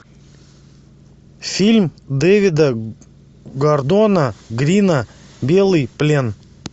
фильм дэвида гордона грина белый плен